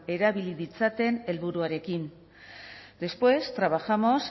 erabili ditzaten helburuarekin después trabajamos